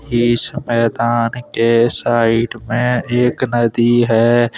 इस मैदान के साइड में एक नदी है।